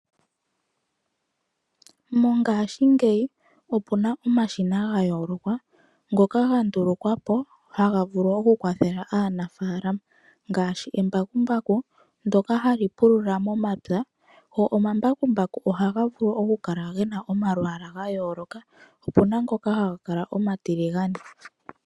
Mongashingeyi opu na omashina ga yooloka ngoka ga ndulukwa po nelalakano lyoku kwathela aanafaalama , ngaashi embakumbaku ndyoka ha li pulula momapya. Omambakumbaku ohaga vulu oku kala momalwaala ga yooloka , opu na ngoka haga kala omatiligane.